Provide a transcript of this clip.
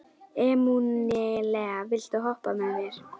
Emanúela, viltu hoppa með mér?